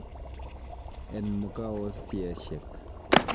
En mugaaosiechiek.